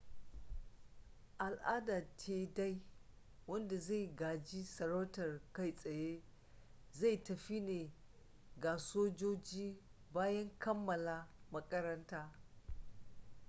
a al'adance dai wanda zai gaji sarautar kai tsaye zai tafi ne ga sojoji bayan kammala makaranta